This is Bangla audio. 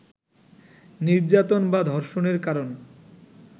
নির্যাতন বা ধর্ষণের কারণ